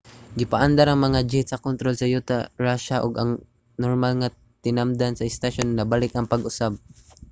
gipaandar ang mga jet sa kontrol sa yuta sa russia ug ang normal nga tinamdan sa istasyon nabalik pag-usab